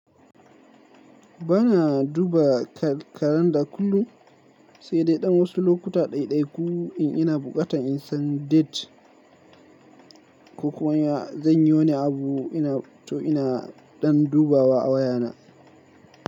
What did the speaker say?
Bana duba kalanda kullum, sai dai dan wasu lokuta ɗaiɗai ku in ina buƙatan in san date ko kuwa zan yi wani abu to ina dan dubawa a wayana.